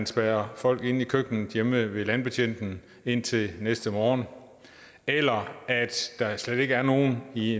spærre folk inde i køkkenet hjemme ved landbetjenten indtil næste morgen eller at der slet ikke er nogen i